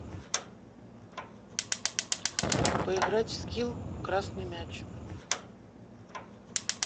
поиграть в скилл красный мяч